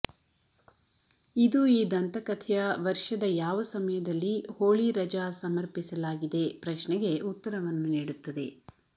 ಇದು ಈ ದಂತಕಥೆಯ ವರ್ಷದ ಯಾವ ಸಮಯದಲ್ಲಿ ಹೋಳಿ ರಜಾ ಸಮರ್ಪಿಸಲಾಗಿದೆ ಪ್ರಶ್ನೆಗೆ ಉತ್ತರವನ್ನು ನೀಡುತ್ತದೆ